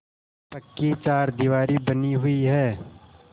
पक्की चारदीवारी बनी हुई है